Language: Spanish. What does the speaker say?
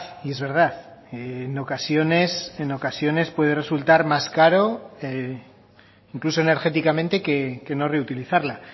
y es verdad en ocasiones en ocasiones puede resultar más caro e incluso energéticamente que no reutilizarla